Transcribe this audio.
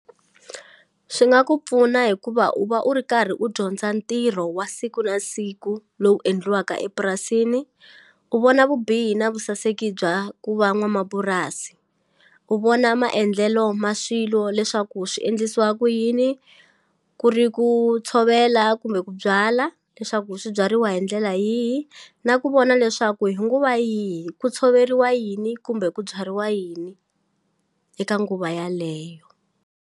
Swi nga ku pfuna hikuva u va u ri karhi u dyondza ntirho wa siku na siku lowu endliwaka epurasini u vona vubihi na vusaseki bya ku va n'wamapurasi u vona maendlelo ma swilo leswaku swi endlisiwa ku yini ku ri ku tshovela kumbe ku byala leswaku swi byariwa hi ndlela yihi na ku vona leswaku hi nguva yihi ku tshoveriwa yini kumbe ku byariwa yini eka nguva yaleyo.